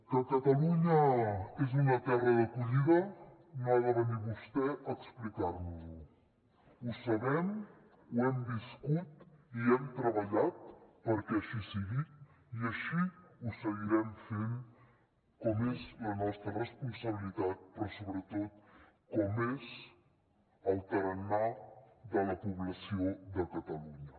que catalunya és una terra d’acollida no ha de venir vostè a explicar nos ho ho sabem ho hem viscut i hem treballat perquè així sigui i així ho seguirem fent com és la nostra responsabilitat però sobretot com és el tarannà de la població de catalunya